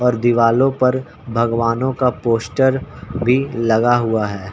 और दीवालों पर भगवानों का पोस्टर भी लगा हुआ है।